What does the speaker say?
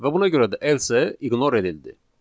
Və buna görə də else ignor edildi.